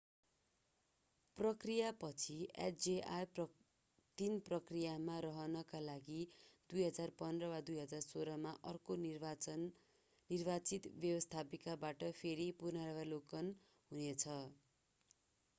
प्रक्रियापछि hjr-3 प्रक्रियामा रहनका लागि 2015 वा 2016 मा अर्को निर्वाचित व्यवस्थापिकाबाट फेरि पुनरावलोकन हुने छ